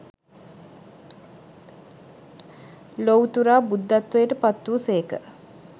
ලොවුතුරා බුද්ධත්වයට පත් වූ සේක.